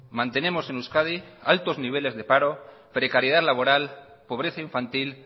mantenemos en euskadi altos niveles de paro precariedad laboral pobreza infantil